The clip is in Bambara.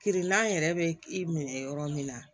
Kirinan yɛrɛ bɛ i minɛ yɔrɔ min na